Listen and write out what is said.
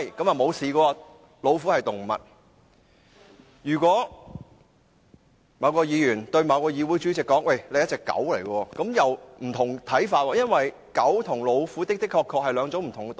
但是，如果某位議員對某議會的主席說，他是一隻狗，這樣又有不同的看法，因為狗和老虎的確是兩種不同的動物。